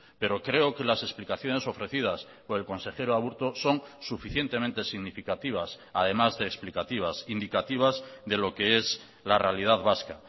pero creo que las explicaciones ofrecidas por el consejero aburto son suficientemente significativas además de explicativas indicativas de lo que es la realidad vasca